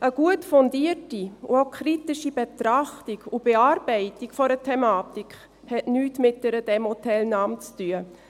Eine gut fundierte und auch kritische Betrachtung und Bearbeitung einer Thematik hat nichts mit einer Demoteilnahme zu tun.